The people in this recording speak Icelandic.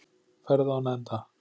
Ferð án enda.